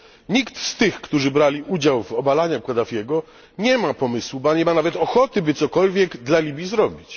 Nikt z tych, którzy brali udział w obalaniu Kaddafiego, nie ma pomysłu, nie ma nawet ochoty, by cokolwiek dla Libii zrobić.